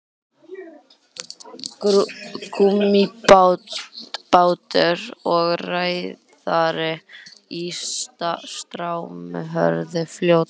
gúmmíbátur og ræðari í straumhörðu fljóti